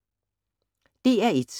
DR1